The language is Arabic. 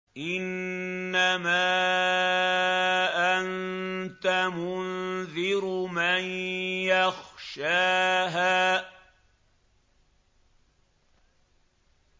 إِنَّمَا أَنتَ مُنذِرُ مَن يَخْشَاهَا